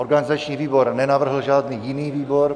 Organizační výbor nenavrhl žádný jiný výbor.